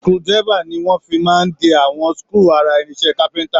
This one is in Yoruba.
Screwdriver ni wọ́n fi máa ń de àwọn screw ara irinṣẹ́ capenter